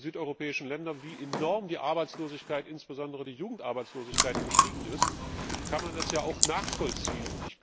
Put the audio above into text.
Schaut man in die südeuropäischen Länder, wie enorm die Arbeitslosigkeit, insbesondere die Jugendarbeitslosigkeit, gestiegen ist, kann man das ja auch nachvollziehen.